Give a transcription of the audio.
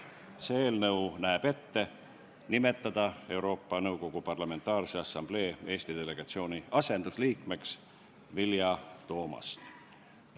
See eelnõu näeb ette nimetada Euroopa Nõukogu Parlamentaarse Assamblee Eesti delegatsiooni asendusliikmeks Vilja Toomast.